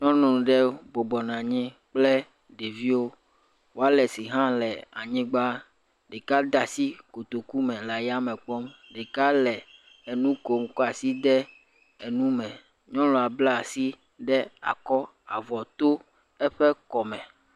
Nyɔnu ɖe bɔbɔnɔ anyi kple ɖeviwo. Walesi hã le anyigba, ɖeka de asi kotoku me le ayame kpɔm. Ɖeka le enu kpm kɔ asi de enume. Nyɔnua bla asi ɖe akɔ avɔ to eƒe kɔme.